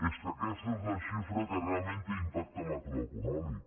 és que aquesta és la xifra que realment té impacte macroeconòmic